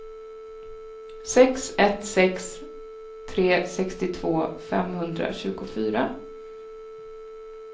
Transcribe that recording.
sex ett sex tre sextiotvå femhundratjugofyra